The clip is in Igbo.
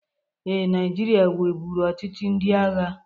Ee, Naịjirịa nweburu ọchịchị ndị agha.